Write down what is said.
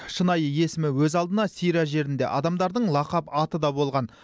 шынайы есімі өз алдына сирия жерінде адамдардың лақап аты да болған